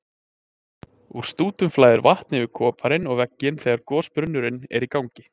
Úr stútum flæðir vatn yfir koparinn og vegginn þegar gosbrunnurinn er í gangi.